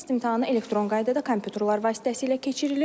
Test imtahanı elektron qaydada kompüterlər vasitəsilə keçirilir.